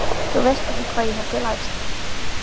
Þú veist ekki hvað ég hef lært.